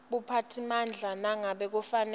buphatsimandla nangabe kufanele